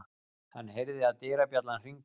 Hann heyrði að dyrabjallan hringdi.